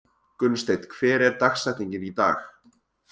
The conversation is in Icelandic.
Gunnsteinn, hver er dagsetningin í dag?